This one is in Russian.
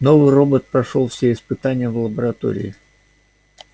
новый робот прошёл все испытания в лаборатории